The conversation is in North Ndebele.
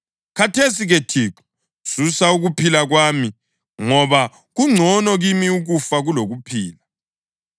Khathesi-ke Thixo, susa ukuphila kwami, ngoba kungcono kimi ukufa kulokuphila.”